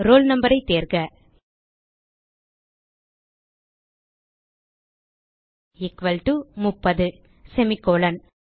roll noஐ தேர்க equal to 30 semicolon